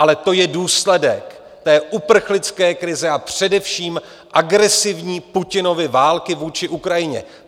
Ale to je důsledek té uprchlické krize a především agresivní Putinovy války vůči Ukrajině.